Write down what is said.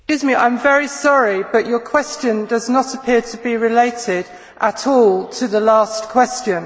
I am very sorry but your question does not appear to be related at all to the last question.